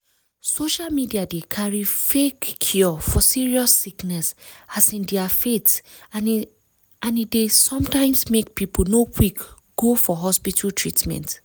social media dey carry fake cure for serious sickness as in their faith and e dey sometimes make people no quick go for hospital treatment.